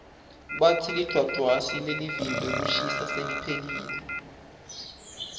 batsi lidvwadvwasi lelivimba kushisa seliphelile